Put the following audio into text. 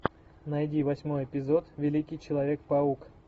найди восьмой эпизод великий человек паук